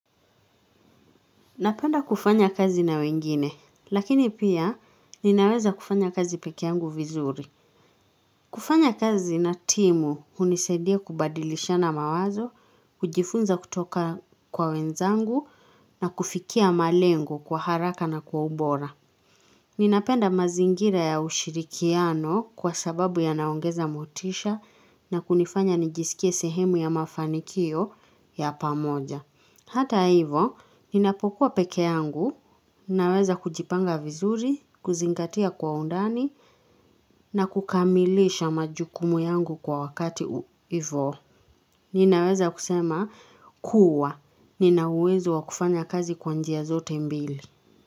Napenda kufanya kazi na wengine, lakini pia ninaweza kufanya kazi pekeangu vizuri. Kufanya kazi na timu hunisaidia kubadilishana mawazo, hujifunza kutoka kwa wenzangu na kufikia malengo kwa haraka na kwa ubora. Ninapenda mazingira ya ushirikiano kwa sababu yanaongeza motisha na kunifanya nijisikie sehemu ya mafanikio ya pamoja. Hata hivo, ninapokuwa peke yangu, ninaweza kujipanga vizuri, kuzingatia kwa undani, na kukamilisha majukumu yangu kwa wakati hivo. Ninaweza kusema, kuwa. Nina uwezo wa kufanya kazi kwa njia zote mbili.